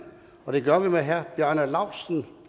og det gør vi med herre bjarne laustsen